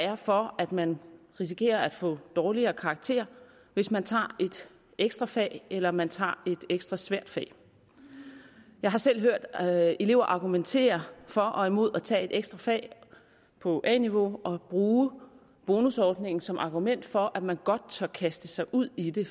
er for at man risikerer at få dårligere karakterer hvis man tager et ekstra fag eller hvis man tager et ekstra svært fag jeg har selv hørt elever argumentere for og imod at tage et ekstra fag på a niveau og bruge bonusordningen som argument for at man godt tør kaste sig ud i det